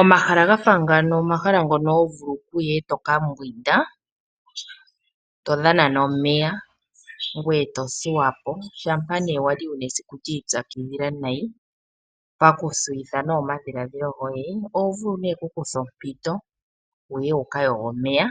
Omahala ga fa ngano, omahala vulu okuya e to ka mbwinda , to dhana nomeya ,ngweye to thuwa po ,shampa wali wuna esiku lyiipyakidhila nee nayi, paku thuyitha omadhiladhilo goye ,oho vulu nee oku kutha ompito wu ye ,wuka yoge omeya,